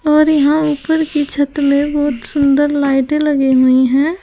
और यहां ऊपर की छत में बहुत सुंदर लाइटे लगी हुई है।